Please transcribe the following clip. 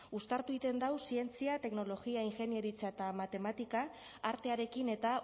uztartu egiten dau zientzia teknologia ingeniaritza eta matematika artearekin eta